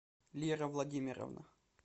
лера владимировна